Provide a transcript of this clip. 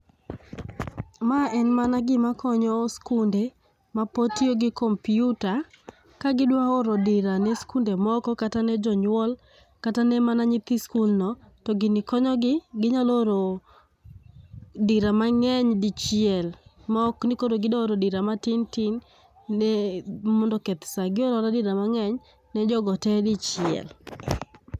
Maen mana gima konyo skunde mapod tio gi kompyuta, ka gidwaoro dira ne skunde moko kata ne jonywol kata ne mana nyithi skulno to gini konyo gi, ginyalo oro dira mang'eny dichiel maokni koro gidwaoro dira matin tin ne mondo oketh saa. Gioraora dira mang'eny ne jogo tee dichiel.